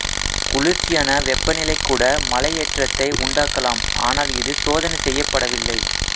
குளிர்ச்சியான வெப்பநிலை கூட மலையேற்றத்தை உண்டாக்கலாம் ஆனால் இது சோதனை செய்யப்படவில்லை